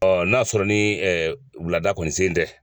n'a sɔrɔ ni wulada kɔni sen tɛ.